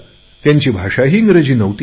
त्यांची भाषाही इंग्रजी नव्हती